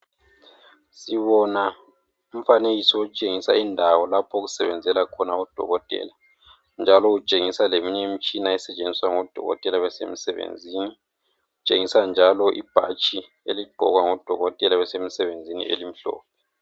sibona umfanekiso otshengisa indawo lapho okusebenzela khona odokotela njalo utshengisa leminye imitshina esetshenziwa ngo dokotela nxa besemisebenzini kutshengiswa njalo ibhatshi eligqokwa ngo dokotela nxa besemsebenzini elimhlophe.